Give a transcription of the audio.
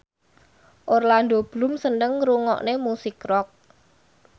Orlando Bloom seneng ngrungokne musik rock